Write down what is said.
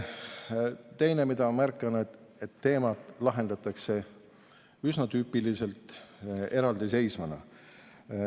Teine, mida ma märkan, on see, et teemat lahendatakse üsna tüüpiliselt eraldiseisvana.